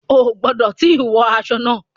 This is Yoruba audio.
O ò gbọ̀dọ tí wun aṣọ náà.